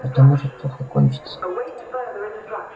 это может плохо кончиться